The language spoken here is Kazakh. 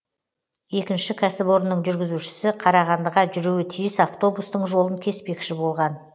екінші кәсіпорынның жүргізушісі қарағандыға жүруі тиіс автобустың жолын кеспекші болған